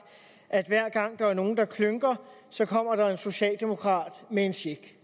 at hver gang der er nogen der klynker så kommer der en socialdemokrat med en check